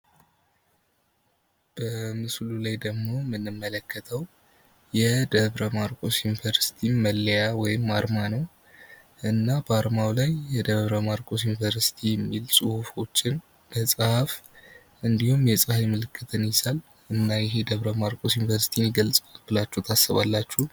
በምስሉ ላይ ደግሞ የምንመለከተው የደብረ ማርቆስ ዩኒቨርስቲ መለያ ወይም አርማ ነው። እና በአርማው ላይ የደብረ ማርቆስ ዩኒቨርስቲ የሚል ጽሑፎችን፣ መፅሀፍ እንዲሁም የፀሀይ ምልክትን ይዟል። እና ይሄ የደብረማርቆስ ዩኒቨርስቲን ይገልፀዋል ብላቹ ታስባላቹ?